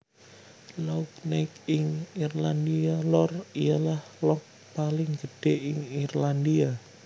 Lough Neagh ing IrlandiaLor ialah loughpaling gedhe ing Irlandia